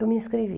Eu me inscrevi.